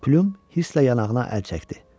Pilyum hirsli yanağına əl çəkdi.